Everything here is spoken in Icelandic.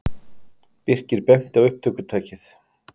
Birkir benti á upptökutækið.